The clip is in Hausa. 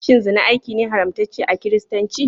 Shin zina aiki ne haramtacce a kiristanci?